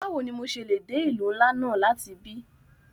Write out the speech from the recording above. Bawo ni mo ṣe le de ilu nla náa lati ibi?